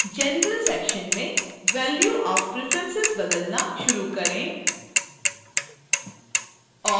general section में value of preference बदलना शुरू करें